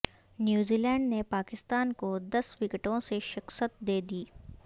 New Zealand نے پاکستان کو دس وکٹوں سے شکست دے دی